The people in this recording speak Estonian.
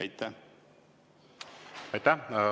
Aitäh!